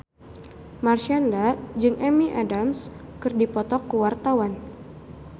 Marshanda jeung Amy Adams keur dipoto ku wartawan